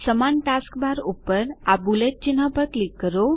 સમાન task bar ઉપર આ બુલેટ ચિહ્ન પર ક્લિક કરો